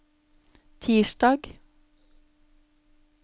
tirsdag